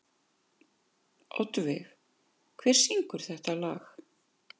Oddveig, hver syngur þetta lag?